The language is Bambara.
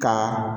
Ka